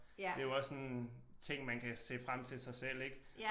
Det jo også sådan ting man kan se frem til sig selv ik